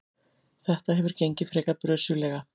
Þetta hefur gengið frekar brösuglega.